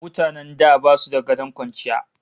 Mutanen da basu da gadon kwanciya